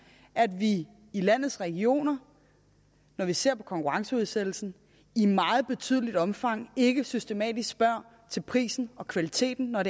at man i landets regioner når vi ser på konkurrenceudsættelsen i meget betydeligt omfang ikke systematisk spørger til prisen og kvaliteten når